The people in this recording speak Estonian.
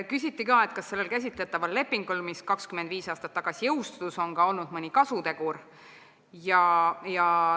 Küsiti ka, kas sellel käsitletaval lepingul, mis 25 aastat tagasi jõustus, on olnud mõni kasutegur.